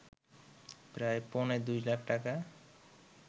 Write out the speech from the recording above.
প্রায় পৌনে ২ লাখ টাকা